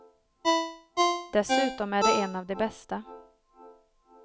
Dessutom är det en av de bästa.